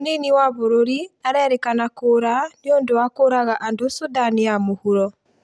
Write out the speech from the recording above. Mũnini wa bũrũri arerĩkana kuura nĩũndũ wa kũraga andũ Sudan ya mũhuro